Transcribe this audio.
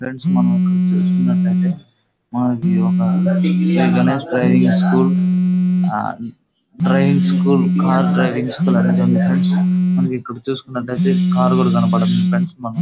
Friends మనం ఎక్కడ చూసుకున్నట్లయితే మనకి ఇది ఒక Shri Ganesh driving school . Driving school cars driving school friends ఇక్కడ మనం చూసుకున్నట్లయితే కారు కూడా కనిపిస్తుంది ఫ్రెండ్స్.మనం--